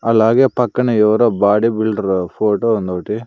అలాగే పక్కనే ఎవరో బాడి బిల్డరు ఫోటో ఉందోటి.